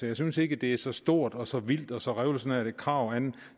jeg synes ikke det er så stort og så vildt og så revolutionært et krav